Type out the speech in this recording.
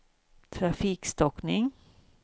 trafikstockning